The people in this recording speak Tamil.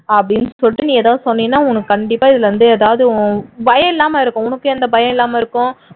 அப்படின்னு சொல்லிட்டு நீ ஏதாவது சொன்னீன்னா உனக்கு கண்டிப்பா இதுல இருந்து ஏதாவது பயம் இல்லாமல் இருக்கும் உனக்கு எந்த பயம் இல்லாமல் இருக்கும்